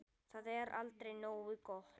Það er aldrei nógu gott.